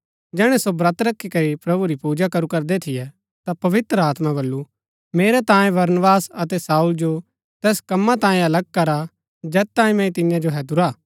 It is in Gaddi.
जैहणै सो ब्रत रखी करी प्रभु री पूजा करू करदै थियै ता पवित्र आत्मा बल्लू मेरै तांयें बरनबास अतै शाऊल जो तैस कम्मा तांयें अलग करा जैत तांयें मैंई तियां जो हैदुरा हा